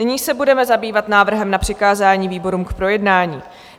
Nyní se budeme zabývat návrhem na přikázání výborům k projednání.